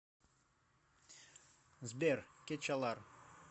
сбер кечалар